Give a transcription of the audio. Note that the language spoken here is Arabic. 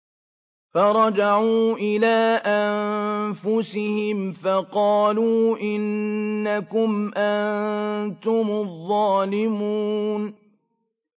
فَرَجَعُوا إِلَىٰ أَنفُسِهِمْ فَقَالُوا إِنَّكُمْ أَنتُمُ الظَّالِمُونَ